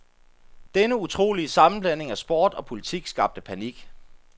Denne utrolige sammanblanding af sport og politik skabte panik.